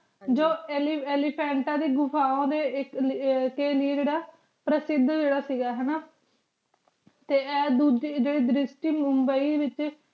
ਅਲੀ ਕੰਤਾ ਫਾਨ੍ਤਇਆ ਦੇ ਘੁਫਾਰਾ ਡੀ ਆਇਕ ਕੀ ਲੀ ਜੀਰਾ ਪੇਰ੍ਸੇਡ ਜੀਰਾ ਸੇ ਗਾ ਹਾਨਾ ਟੀ ਆਯ ਡੋਜੀ ਜੀਰੀ ਦੇਰ੍ਸਤੀ ਮੁਬਾਈ ਵੇਚ